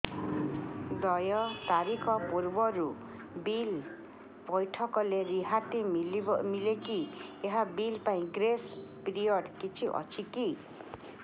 ଦେୟ ତାରିଖ ପୂର୍ବରୁ ବିଲ୍ ପୈଠ କଲେ ରିହାତି ମିଲେକି ଏହି ବିଲ୍ ପାଇଁ ଗ୍ରେସ୍ ପିରିୟଡ଼ କିଛି ଅଛିକି